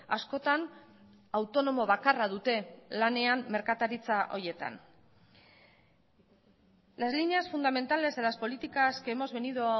askotan autonomo bakarra dute lanean merkataritza horietan las líneas fundamentales de las políticas que hemos venido